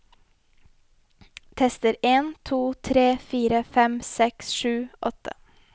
Tester en to tre fire fem seks sju åtte